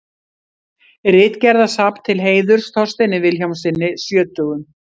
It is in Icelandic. Ritgerðasafn til heiðurs Þorsteini Vilhjálmssyni sjötugum.